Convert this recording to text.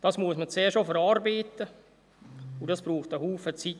Das muss man zuerst auch verarbeiten, und das braucht viel Zeit.